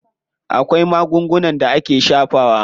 Akwai magungunan da ake shafawa.